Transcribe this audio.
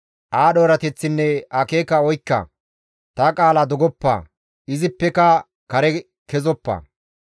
Aadho erateththinne akeeka oykka; ta qaala dogoppa; izippeka kare kezoppa.